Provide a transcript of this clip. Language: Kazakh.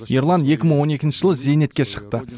ерлан екі мың он екінші жылы зейнетке шықты